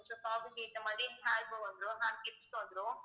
frock க்கு ஏத்த மாதிரி hairbow வந்துரும் hairclips வந்துரும்